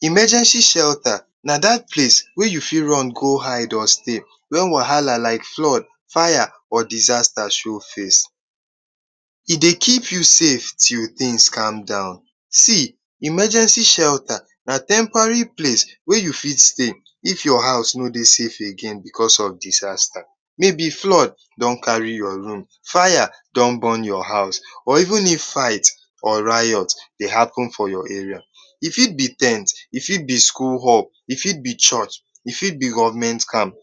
Emergency shelta na dat place wey you fit run go hide or stay wen wahala like flood, faya or disasta show face. E dey keep you safe till tins calm down, see, emergency shelta na temporary place wey you fit stay if your house no dey safe because of disasta. May be flood don kari your room, fire don burn your room or even if fight or riot dey happen for your area, e fit be ten t, e fit be schoo hall, e fit be church, e fit be government camp.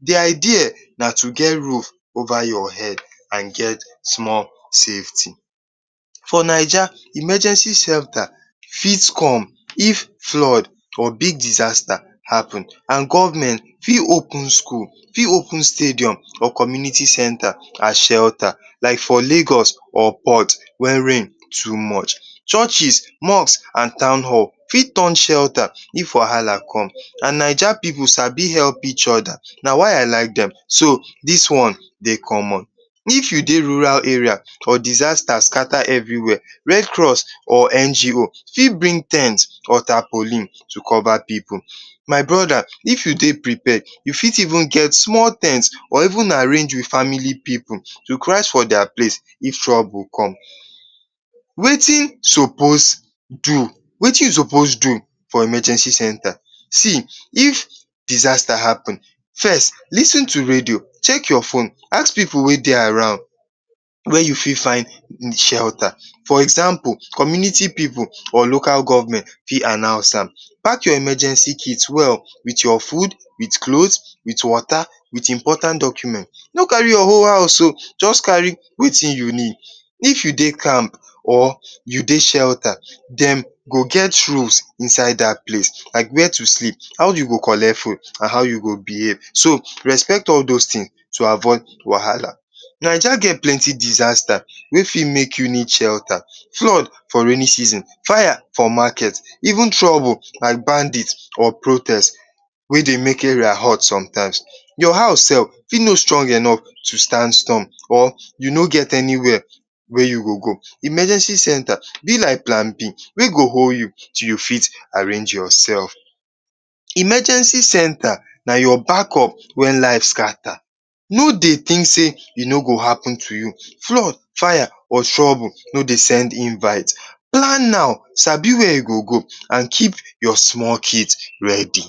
The idea na to get roof ova your head and get small safety. For Naija, emergency shelta fit come wen big flood or big disasta happen and government fit open skul, fit open stadium or community center as shelta like for Lagos or port where rain too much. Churches. Mosque and town hall fit turn shelta if wahala come and Naija pipu sabi help each oda if wahala come, na why I like dem so, dis one dey common. If you dey rural rea or disasta skata evry where, red cross or NGO’s fit bring ten t or tapollin to cova pipu. My broda if you dey prepare, you fit even get small ten t, or if una arrange with family pipu, request dia place if trouble come. Wetin you sopos do for emergency centre? See if disata happen, first lis ten to radio, chek your phone ask pipu wey dey around wey you fit find shelta. Example community pipu or local government fit announce am. Pack your emergency kit well with your fud, your clot, with wota with important document. No kari your whole house o just kari what you need, if you dey camp or you dey shelta, dem go get rules inside dat place, like where to sleep, how de go colect fud and how you go behve so respect all dos tins to avoid wahala. Naija get plenty disasta wey fit make you need shelta, flood for rainin season, fire for market even trouble like bandit or protest wey dey make area hot somttimes. Your hous e sef fit no strong enough to stand storm or you no get anywhere wey you go go, emergency center e be likk plan b wey go hold you till you fit arrange yourself. Emergency centre na your back up wen life scata, no dey tink sey e no go happen to you, flood, fire or troble no dey send invite. plan am, sabi where you go go and keep your small kit ready.